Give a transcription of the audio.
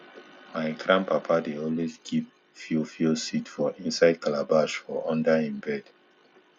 my grandpapa dey always keep fiofio seed for inside calabash for under e bed